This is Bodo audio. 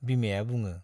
बिमाया बुङो।